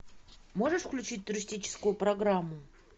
можешь включить туристическую программу